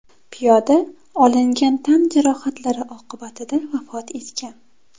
Piyoda olingan tan jarohatlari oqibatida vafot etgan.